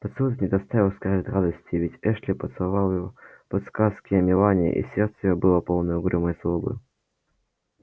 поцелуй этот не доставил скарлетт радости ведь эшли поцеловал её по подсказке мелани и сердце её было полно угрюмой злобы